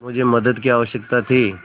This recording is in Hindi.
मुझे मदद की आवश्यकता थी